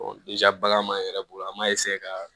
bagan m'an yɛrɛ bolo an b'a ka